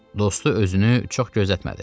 Dostu özünü çox gözlətmədi.